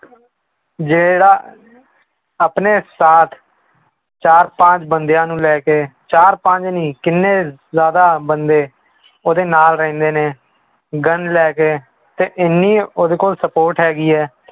ਜਿਹੜਾ ਆਪਣੇ ਸਾਥ ਚਾਰ ਪਾਂਚ ਬੰਦਿਆਂ ਨੂੰ ਲੈ ਕੇ ਚਾਰ ਪੰਜ ਨੀ ਕਿੰਨੇ ਜ਼ਿਆਦਾ ਬੰਦੇ ਉਹਦੇ ਨਾਲ ਰਹਿੰਦੇ ਨੇ gun ਲੈ ਕੇ ਤੇ ਇੰਨੀ ਉਹਦੇ ਕੋਲ support ਹੈਗੀ ਹੈ